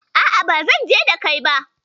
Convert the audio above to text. A'a, ba zanje da kai ba.